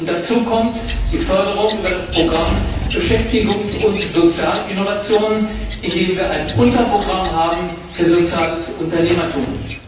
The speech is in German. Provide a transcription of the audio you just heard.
Dazu kommt die Förderung über das Programm für Beschäftigung und soziale Innovation, in dem wir ein Unterprogramm haben für soziales Unternehmertum.